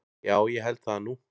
Já ég held það nú.